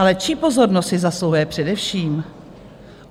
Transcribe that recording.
Ale čí pozornost si zasluhuje především?